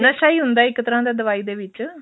ਨਸ਼ਾ ਹੀ ਹੁੰਦਾ ਇੱਕ ਤਰ੍ਹਾਂ ਦਾ ਦਵਾਈ ਦੇ ਵਿੱਚ